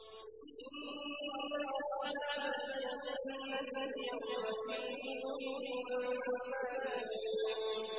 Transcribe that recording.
إِنَّ أَصْحَابَ الْجَنَّةِ الْيَوْمَ فِي شُغُلٍ فَاكِهُونَ